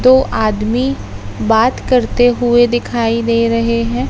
दो आदमी बात करते हुए दिखाई दे रहे हैं।